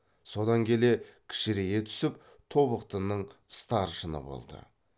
содан келе кішірейе түсіп тобықтының старшыны болды